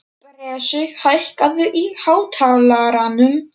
Bresi, hækkaðu í hátalaranum.